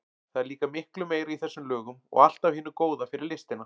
Það er líka miklu meira í þessum lögum og allt af hinu góða fyrir listina.